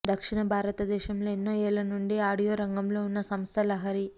దక్షిణ భారత దేశంలో ఎన్నో ఏళ్ళ నుండి ఆడియో రంగం లో ఉన్న సంస్థ లహరి